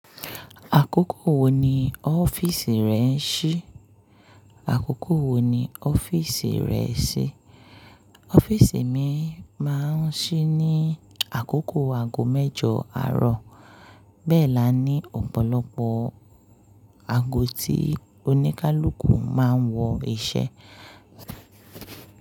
Àkókò wo ni ọ́fíìsì rẹ ń ṣí? Ọ́fíìsì mi máa ń ṣí ní àkókò aago mẹ́jọ àárọ̀. Bẹ́ẹ̀ la ní ọ̀pọ̀lọpọ̀ aago tí oníkálukú máa ń wọ iṣẹ́.